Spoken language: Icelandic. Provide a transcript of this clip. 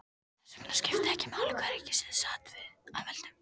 Þess vegna skipti ekki máli hvaða ríkisstjórn sat að völdum.